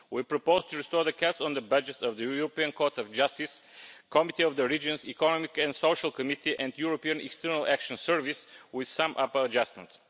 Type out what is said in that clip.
We propose to restore the cuts to the budgets of the European Court of Justice, the Committee of the Regions, the Economic and Social Committee and the European External Action Service, with some upper adjustments.